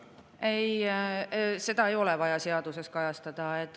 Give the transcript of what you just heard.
Ei, seda ei ole vaja seaduses kajastada.